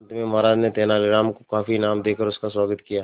अंत में महाराज ने तेनालीराम को काफी इनाम देकर उसका स्वागत किया